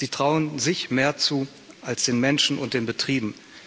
Sie trauen sich mehr zu als den Menschen und den Betrieben.